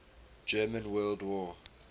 german world war